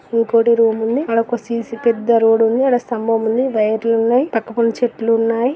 కిటికి ఉంది. ఇంకొకటి రూమ్ ఉంది. అక్కడ సిసి పెద్ద రోడ్ ఉంది. స్తంభం ఉంది. వైర్లు ఉన్నాయి.పక్కన కొన్ని చెట్టులు ఉన్నాయి